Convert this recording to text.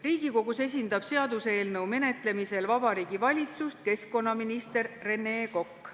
Riigikogus esindab seaduseelnõu menetlemisel Vabariigi Valitsust keskkonnaminister Rene Kokk.